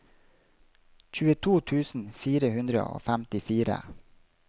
tjueto tusen fire hundre og femtifire